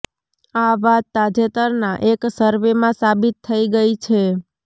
આ વાત તાજેતરના એક સર્વેમાં સાબિત થઈ ગઈ છે